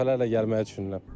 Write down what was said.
Dəfələrlə gəlməyi düşünürəm.